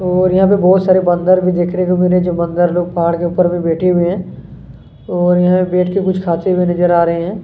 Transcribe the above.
ओर यहाँ पे बहुत सारे बंदर भी देखने को मिल रहै है जो बंदर लोग पहाड़ के ऊपर में बेठे हुए है ओर यहाँ पे बेठ के कुछ खाते हुए नजर आ रहै हैं।